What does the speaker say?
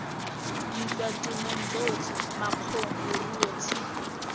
ditswatemong tsotlhe makgong leruo tshipi